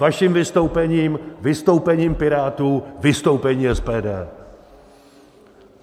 Vaším vystoupením , vystoupením Pirátů, vystoupením SPD.